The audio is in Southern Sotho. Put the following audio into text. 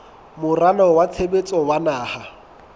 moralo wa tshebetso wa naha